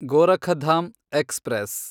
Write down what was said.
Gorakhdham express